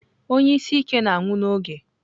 Onye isi ike na-anwụ n'oge.